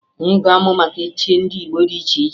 Anyị ga-amụ maka echichi ndị Igbo dị iche iche